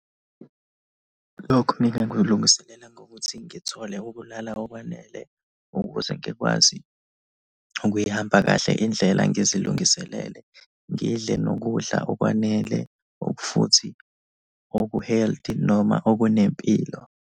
Lokhu ngingakulungiselela ngokuthi ngithole ukulala okwanele ukuze ngikwazi ukuyihamba kahle indlela, ngizilungiselele, ngidle nokudla okwanele or futhi oku-healthy noma okunempilo.